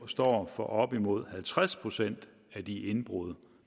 står for op imod halvtreds procent af de indbrud